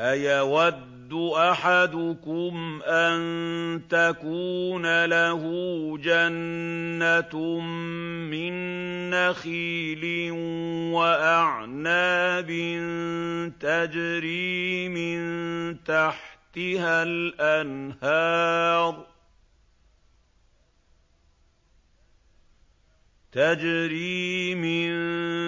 أَيَوَدُّ أَحَدُكُمْ أَن تَكُونَ لَهُ جَنَّةٌ مِّن نَّخِيلٍ وَأَعْنَابٍ تَجْرِي مِن